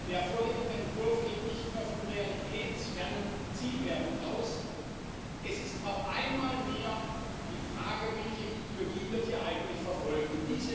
Der vorliegende Entwurf geht nicht nur von realitätsfernen Zielwerten aus, es ist auch einmal mehr die Frage, welche Ideologie hier eigentlich verfolgt wird.